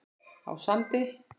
á Sandi.